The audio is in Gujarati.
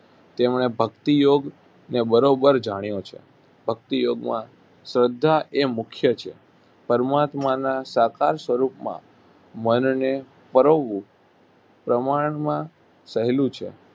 તેમણે ભક્તિયોગ્યને બરોબર જાણ્યો છે. ભક્તિયોગ્યમાં શ્રદ્ધા એ મુખ્ય છે. પરમાત્માના સાકાર સ્વરૂપમાં મનને પરોવવું પ્રમાણમાં સહેલું છે